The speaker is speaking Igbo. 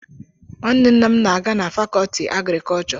Nwanne nna m na-aga fàkọọtị àgrịkọọchọ